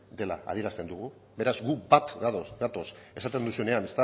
adierazten dugu beraz gu bat gatoz esaten duzuenean